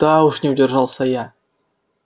да уж не удержался я